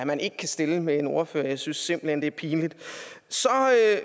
man ikke kan stille med en ordfører jeg synes simpelt hen det er pinligt så